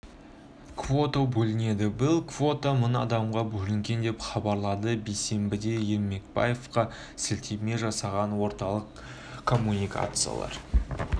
квота бөлінеді биыл квота мың адамға бөлінген деп хабарлады бейсенбіде ермекбаевқа сілтеме жасаған орталық коммуникациялар